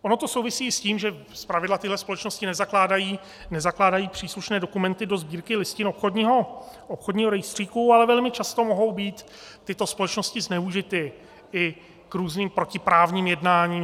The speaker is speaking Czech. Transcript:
Ono to souvisí s tím, že zpravidla tyto společnosti nezakládají příslušné dokumenty do Sbírky listin obchodního rejstříku, ale velmi často mohou být tyto společnosti zneužity i k různým protiprávním jednáním.